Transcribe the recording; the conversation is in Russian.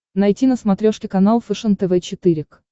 найти на смотрешке канал фэшен тв четыре к